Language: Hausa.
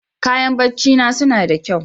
Kayan barcina suna da kyau.